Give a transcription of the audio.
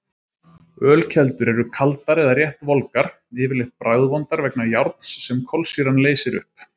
Ölkeldur eru kaldar eða rétt volgar, yfirleitt bragðvondar vegna járns sem kolsýran leysir upp.